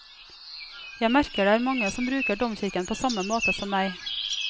Jeg merker det er mange som bruker domkirken på samme måte som meg.